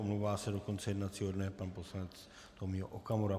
Omlouvá se do konce jednacího dne pan poslanec Tomio Okamura.